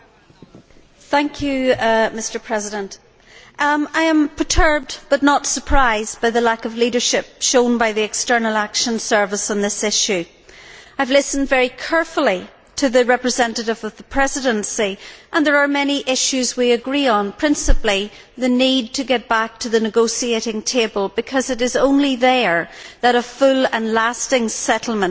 Mr President, I am perturbed, but not surprised, by the lack of leadership shown by the External Action Service on this issue. I have listened very carefully to the representative of the Presidency and there are many issues we agree on, principally the need to get back to the negotiating table, because it is only there that a full and lasting settlement can actually come forward.